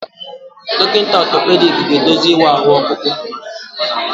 Dọkịta otopediki ga-eduzi ịwa ahụ ọkpụkpụ.